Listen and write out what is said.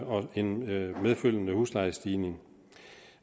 en medfølgende huslejestigning